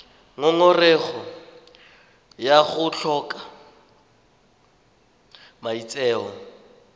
ngongorego ya go tlhoka maitseo